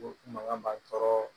Ko makan b'a' tɔrɔ.